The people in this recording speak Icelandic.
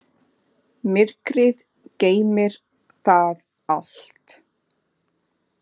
Myrkrið geymir það allt.